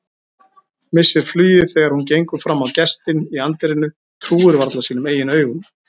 Missir flugið þegar hún gengur fram á gestinn í anddyrinu, trúir varla sínum eigin augum.